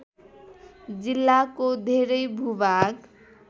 जिल्लाको धेरै भूभाग